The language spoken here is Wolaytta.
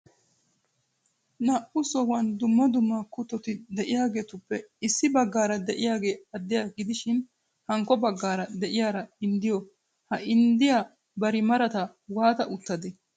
Naa"u sohuwan dumma dumma kuttoti de'iyageetuppe issi baggaara de'iyagee addiya gidishin hankko baggaara de'iyara inddiyo ha inddiya bari marata waata uttadee?